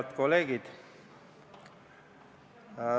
Head kolleegid!